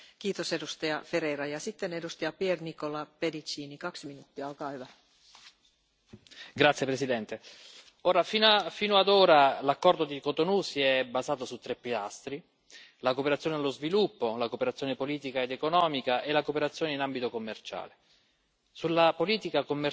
Signora Presidente, onorevoli colleghi, fino ad ora l'accordo di Cotonou si è basato su tre pilastri la cooperazione allo sviluppo, la cooperazione politica ed economica e la cooperazione in ambito commerciale. Sulla politica commerciale c'è stato un totale fallimento.